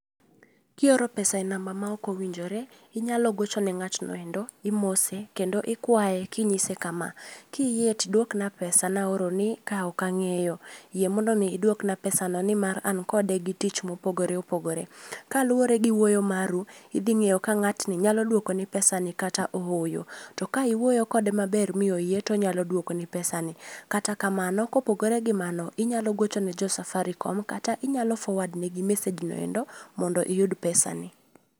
Kioro pesa e namba ma ok owinjore, inyalo gocho ne ng'atno endo, imose, kendo ikwae kinyise kama, 'kiyie tidwokna pesa naoroni ka ok ang'eyo. Yie mondo mi idwokna pesano ni mar an kode gi tich mopogore opogore.' Kaluwore gi wuoyo maru, idhing'eyo ka ng'atni nyalo duokoni pesani kata ohoyo. To ka iwuoyo kode maber mi oyie to onyalo duokoni pesani. Kata kamano, kopogore gi mano, inyalo gochone jo Safaricom kata inyalo forward ne gi message no endo mondo iyud pesani